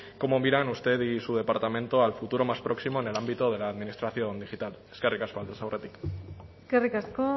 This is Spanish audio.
cómo miran usted y su departamento al futuro más próximo en el ámbito de la administración digital eskerrik asko aldez aurretik eskerrik asko